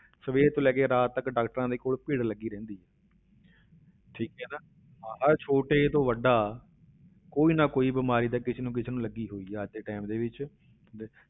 ਸਵੇਰ ਤੋਂ ਲੈ ਕੇ ਰਾਤ ਤੱਕ doctors ਦੇ ਕੋਲ ਭੀੜ ਲੱਗੀ ਰਹਿੰਦੀ ਹੈ ਠੀਕ ਹੈ ਨਾ ਹਰ ਛੋਟੇ ਤੋਂ ਵੱਡਾ ਕੋਈ ਨਾ ਕੋਈ ਬਿਮਾਰੀ ਤਾਂ ਕਿਸੇ ਨਾ ਕਿਸੇ ਨੂੰ ਲੱਗੀ ਹੋਈ ਹੈ ਅੱਜ ਦੇ time ਦੇ ਵਿੱਚ